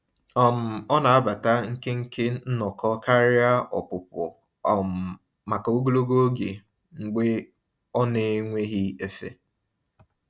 um Ọ na-anabata nkenke nnọkọ karịa ọpụpụ um maka ogologo oge mgbe ọ n'enweghị efe.